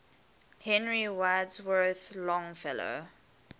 henry wadsworth longfellow